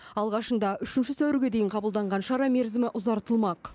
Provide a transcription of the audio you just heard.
алғашында үшінші сәуірге дейін қабылданған шара мерзімі ұзартылмақ